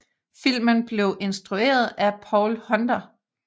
Filmen blev instrueret af Paul Hunter